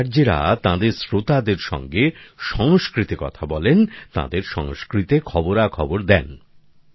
এই আরজেরা তাঁদের শ্রোতাদের সঙ্গে সংস্কৃতে কথা বলেন তাঁদের সংস্কৃতে খবরাখবর দেন